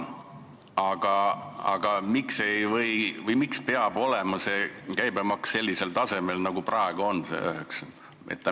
Aga miks peab see käibemaks olema sellisel tasemel nagu praegu, 9%?